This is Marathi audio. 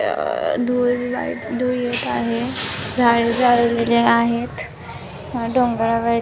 ए अ धु धुळ येत आहे झाड जाळलेले आहेत डोंगरा वर --